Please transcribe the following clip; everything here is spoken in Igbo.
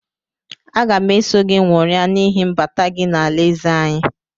Aga m eso gị nwụria n’ihi mbata gị n’alaeze anyị